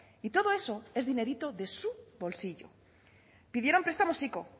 y todo eso es dinerito de su bolsillo pidieron prestamos ico